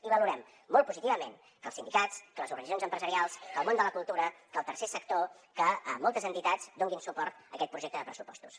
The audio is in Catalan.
i valorem molt positivament que els sindicats que les organitzacions empresarials que el món de la cultura que el tercer sector que moltes entitats donin suport a aquest projecte de pressupostos